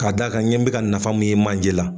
K'a d'a kan n ye n bi ka nafa mun ye manje la.